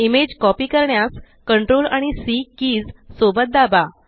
image copy करण्यास CTRL आणि C keys सोबत दाबा